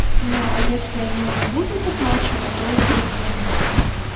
ну а если они не будут оплачивать то уже звонить